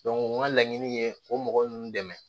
n ka laɲini ye o mɔgɔ ninnu dɛmɛ